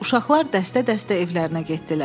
Uşaqlar dəstə-dəstə evlərinə getdilər.